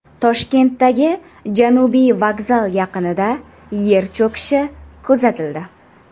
Toshkentdagi Janubiy vokzal yaqinida yer cho‘kishi kuzatildi.